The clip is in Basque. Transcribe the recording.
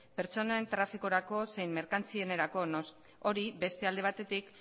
pertsonen trafikorako zein merkantzietarako noski hori beste alde batetik